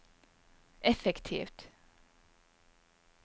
effektivt